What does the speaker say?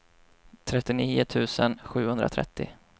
trettionio tusen sjuhundratrettio